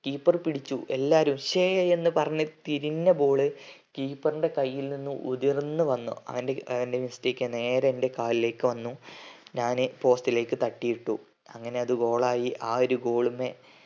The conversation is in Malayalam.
keeper പിടിച്ചു എല്ലാരും ഛേ എന്ന് പറഞ്ഞു തിരിഞ്ഞ ball keeper ന്റെ കയ്യിൽ നിന്ന് ഉര്ർന്നു വന്നു അവന്റെ അവൻറെ mistake ആണ് നേരെ എന്റെ കാലിലേക്ക് വന്നു ഞാന് post ലേക്ക് തട്ടി ഇട്ടു അങ്ങനെ അത് goal ആയി ആ ഒരു goal ന്ന്